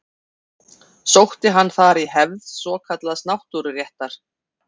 Sótti hann þar í hefð svokallaðs náttúruréttar.